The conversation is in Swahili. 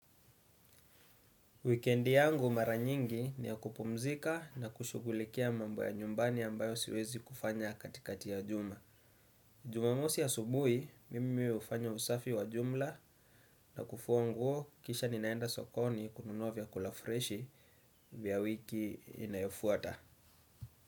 Weekendi yangu mara nyingi ni ya kupumzika na kushugulikia mambo ya nyumbani ambayo siwezi kufanya katikati ya juma. Jumamosi asubui, mimi hufanya usafi wa jumla na kufua nguo kisha ninaenda sokoni kununua vyakula freshi vya wiki inayofuata.